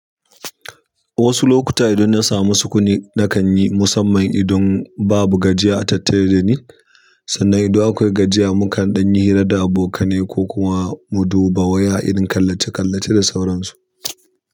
Wasu lokuta idan na samu sukuni na kan yi, musamman idan babu gajiya a tattare da ni. Sannan ido akwai gajiya muka ɗan yi hira da abokane ko kuma mu dubo waya idan kallace-kallace da sauransu.